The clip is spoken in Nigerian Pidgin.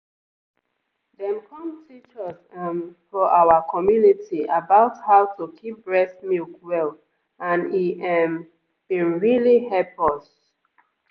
dem come teach us um for our community about how to keep breast milk well and e ehmmm bin really hep us.